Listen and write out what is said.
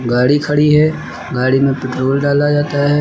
गाड़ी खड़ी है गाड़ी में पेट्रोल डाला जाता है।